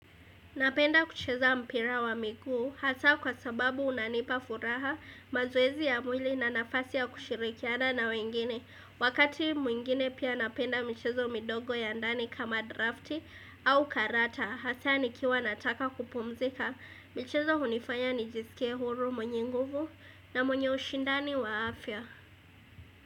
Napenda kucheza mpira wa miguu, hasaa kwa sababu unanipa furaha mazowezi ya mwili na nafasi ya kushirikiana na wengine. Wakati mwingine pia napenda michezo mindogo ya ndani kama drafti au karata, hasaa nikiwa nataka kupumzika. Michezo hunifanya nijisike huru mwenye nguvu na mwenye ushindani wa afya.